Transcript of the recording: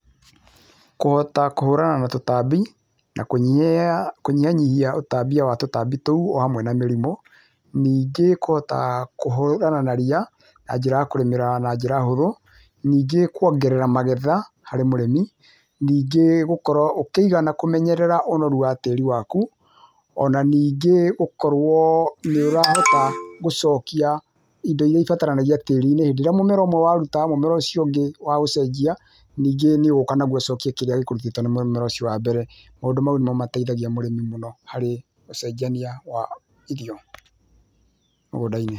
Kũhota kũhũrana na tũtambi na kũnyihianyihia ũtambia wa tũtambi tũu ohamwe na mĩrimũ ningĩ ,kũhota na kũhũrana na ria njĩra ya kũrĩmĩra na njĩra hũthũ ningĩ, kwongerera magetha harĩ mũrĩmi, ningĩ ,gũkorwo ũkĩigana kũmenyerera ũnorũ wa tĩri waku ona ningĩ gũkorwo nĩũrahota gũcokia indo irĩa ibataraga tĩrinĩ hĩndĩ ĩrĩa mũmera waruta mũmera ũcio ũngĩ waũcejia ningĩ, nĩũgũka naũcejie ningĩ nĩ ũgũka na ũcokie kĩrĩa gĩkĩrũtĩte mbere. Maũndũ mau nĩmateithia mũrĩmi mũno hari ũcejania wa irio mũgũndainĩ.